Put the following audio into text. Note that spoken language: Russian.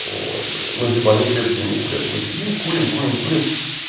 ну типа они крепкие не курят мы сидим курим курим курим